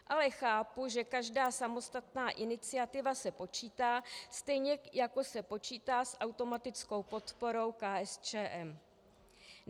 Ale chápu, že každá samostatná iniciativa se počítá, stejně jako se počítá s automatickou podporou KSČM.